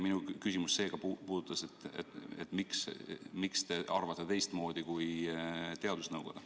Minu küsimus oligi, miks te arvate teistmoodi kui teadusnõukoda.